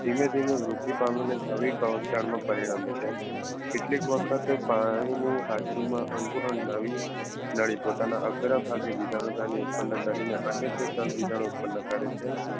ધીમે ધીમે મૃત્યુ પામી ને નવી કવક જાળમાં પરિણામે છે. કેટલીક વખત પાણી ની હાજરી માં અંકુરન નવી નડી પોતાના અઘરભાગે બીજાણુધની ઉત્પન્ન કરીને અનેક ચલબીજાનું ઉત્પન્ન કરે છે